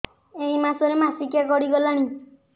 ଏଇ ମାସ ର ମାସିକିଆ ଗଡି ଗଲାଣି